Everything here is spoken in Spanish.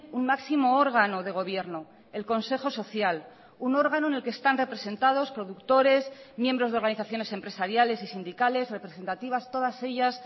un máximo órgano de gobierno el consejo social un órgano en el que están representados productores miembros de organizaciones empresariales y sindicales representativas todas ellas